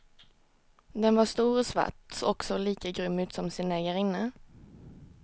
Den var stor och svart och såg lika grym ut som sin ägarinna.